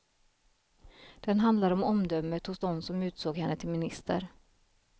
Den handlar om omdömet hos dem som utsåg henne till minister.